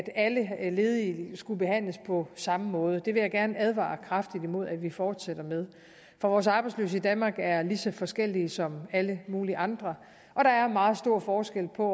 alle ledige skulle behandles på samme måde det vil jeg gerne advare kraftigt imod at vi fortsætter med for vores arbejdsløse i danmark er lige så forskellige som alle mulige andre og der er meget stor forskel på